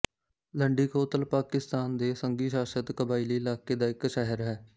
ਲੰਡੀ ਕੋਤਲ ਪਾਕਿਸਤਾਨ ਦੇ ਸੰਘੀ ਸ਼ਾਸਿਤ ਕਬਾਇਲੀ ਇਲਾਕੇ ਦਾ ਇੱਕ ਸ਼ਹਿਰ ਹੈ